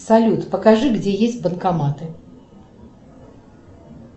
салют покажи где есть банкоматы